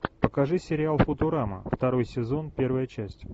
покажи сериал футурама второй сезон первая часть